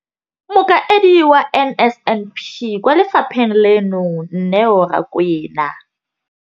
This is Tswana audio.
Mokaedi wa NSNP kwa lefapheng leno, Neo Rakwena,